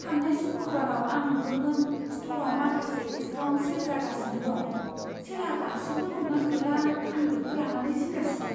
थांनाय सुकुरबाराव आं नुदोंमोन स्ट'रआव माखासे डिस्काउन्ट सेल जागासिनो दं। सेलआ दासिमबो दं ना गैला आं बेखौ लानानै जिंगा सिदों।